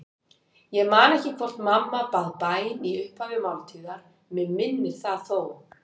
Ég man ekki hvort mamma bað bæn í upphafi máltíðar, mig minnir það þó.